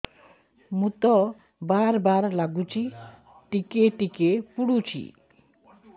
ମୁତ ବାର୍ ବାର୍ ଲାଗୁଚି ଟିକେ ଟିକେ ପୁଡୁଚି